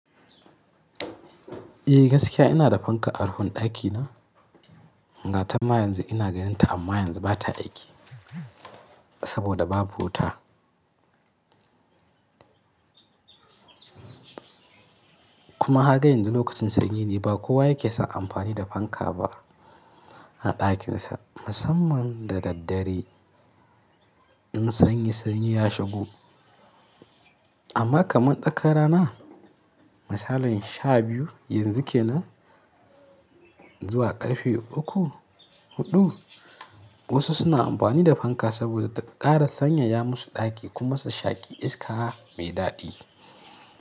Eh gaskiya ina da fanka a rufin ɗakina, gata ma yanzu ina ganin ta amma yanzu bata aiki saboda babu wuta. Kuma kaga yanzu lokacin sanyi ne ba kowa yake son amfani da fanka ba a ɗakinsa musamman da daddare in sanyi sanyi ya shigo. Amma kaman tsakar rana misalin sha biyu yanzu kenan zuwa ƙarfe uku, huɗu wasu suna amfani da fanka saboda ta ƙara sanya ya musu ɗaki kuma ta shaƙi iska mai daɗi.